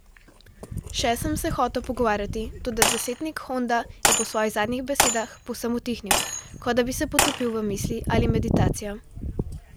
Še sem se hotel pogovarjati, toda desetnik Honda je po svojih zadnjih besedah povsem utihnil, kot da bi se potopil v misli ali meditacijo.